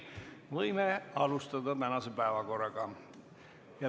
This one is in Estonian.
Võime alustada tänase päevakorraga.